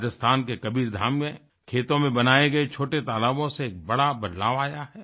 राजस्थान के कबीरधाम में खेतों में बनाए गए छोटे तालाबों से एक बड़ा बदलाव आया है